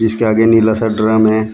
इसके आगे नीला सा ड्रम है।